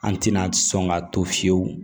An tɛna sɔn ka to fiyewu